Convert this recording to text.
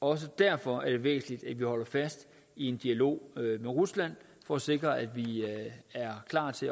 også derfor er det væsentligt at vi holder fast i en dialog med rusland for at sikre at vi er klar til